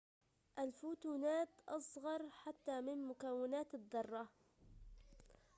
الفوتونات أصغر حتى من مكونات الذرات